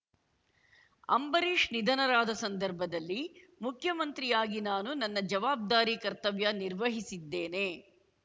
ಅಂಬರೀಷ್‌ ನಿಧನರಾದ ಸಂದರ್ಭದಲ್ಲಿ ಮುಖ್ಯಮಂತ್ರಿಯಾಗಿ ನಾನು ನನ್ನ ಜವಾಬ್ದಾರಿ ಕರ್ತವ್ಯ ನಿರ್ವಹಿಸಿದ್ದೇನೆ